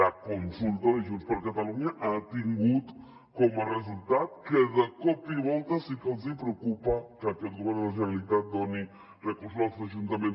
la consulta de junts per catalunya ha tingut com a resultat que de cop i volta sí que els hi preocupa que aquest govern de la generalitat doni recursos als ajuntaments